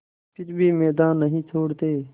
फिर भी मैदान नहीं छोड़ते